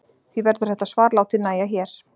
því verður þetta svar látið nægja hér